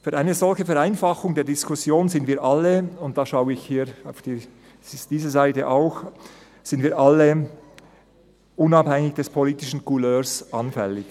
Für eine solche Vereinfachung der Diskussion sind wir alle, unabhängig von der politischen Couleur, anfällig; und da schaue ich auch hier auf diese Seite.